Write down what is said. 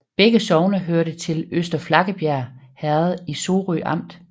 Begge sogne hørte til Øster Flakkebjerg Herred i Sorø Amt